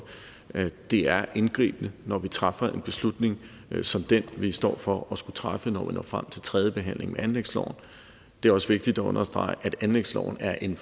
det er indgribende når vi træffer en beslutning som den vi står for at skulle træffe når vi når frem til tredjebehandlingen af anlægsloven det er også vigtigt at understrege at anlægsloven er en